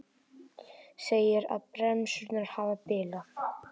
Segir að bremsurnar hafi bilað